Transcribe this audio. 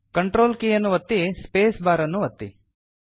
control ಕೀಯನ್ನು ಒತ್ತಿ space bar ಅನ್ನೂ ಒತ್ತಿ